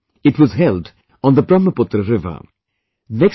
This year it was held on the Brahmaputra river